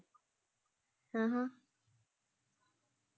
ਹ।